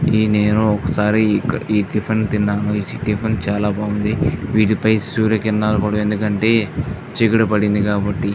ఈ నేను ఒకసారి ఈ టిఫిన్ తిన్నాను. ఈ టిఫిన్ చాలా బాగుంది. వీటిపై సూర్య కిరణాలు పడవు. ఎందుకంటే చీకటి పడింది కాబట్టి.